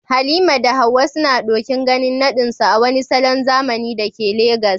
Halima da Hawwa suna ɗokin ganin naɗinsu a wani salon zamani da ke Legas